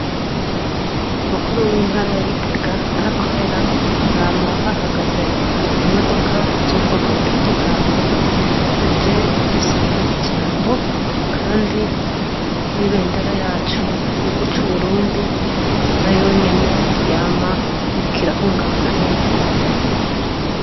Mukuru w'intara ya Gitega aho akorera hama hahagaze imodoka zu bwoko butandukanye zije gusaba ijambo kandi n'ibendera yacu y'igihugu cu Burundi nayonyene yama iriko irahungabana hejuru.